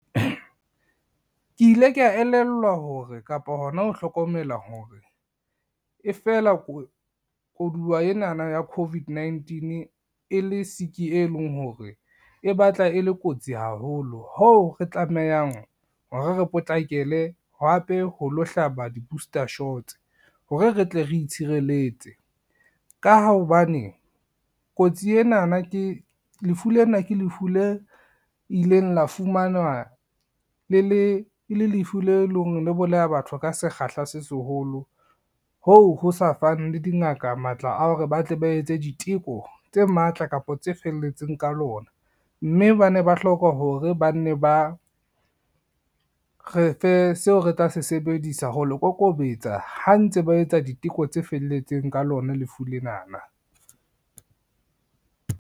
Ke ile ka elellwa hore kapa hona ho hlokomela hore, e fela ko koduwa enana ya COVID-19 e le siki e leng hore e batla e le kotsi haholo hoo re tlamehang hore re potlakele hape ho lo hlaba di-booster shots hore re tle re itshireletse. Ka ha hobane lefu lena ke lefu le ileng la fumanwa e le lefu le leng le bolaya batho ka sekgahla se seholo, hoo ho sa fang le dingaka matla a hore ba tle ba etse diteko tse matla kapa tse felletseng ka lona, mme ba ne ba hloka hore ba nne ba re fe seo re tla se sebedisa ho le kokobetsa ha ntse ba etsa diteko tse felletseng ka lona lefu lenana.